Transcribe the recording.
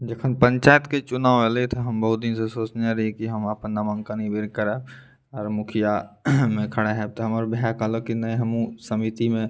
जेखन पंचायत के चुनाव हलइ त हम बहुत दिन से सोचने हली की हम आपन नामांकन इबेरी कराए और मुखिया में खड़ा होए त हमार भाई कहल की नै हमहू समिति में --